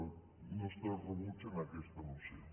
el nostre rebuig a aquesta moció